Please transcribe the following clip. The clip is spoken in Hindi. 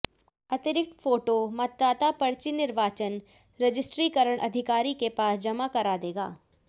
अतिरिक्त फोटो मतदाता पर्ची निर्वाचन रजिस्ट्रीकरण अधिकारी के पास जमा करा देगा